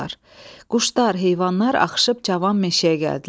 Quşlar, heyvanlar axışıb cavan meşəyə gəldilər.